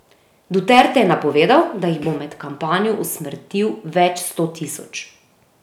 Duterte je napovedal, da jih bo med kampanjo usmrtil več sto tisoč.